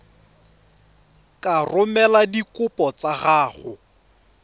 ka romela dikopo tsa gago